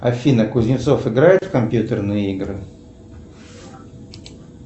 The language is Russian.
афина кузнецов играет в компьютерные игры